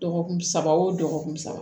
Dɔgɔkun saba wo dɔgɔkun saba